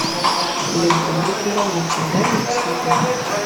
лента великий уравнитель дай мне посмотреть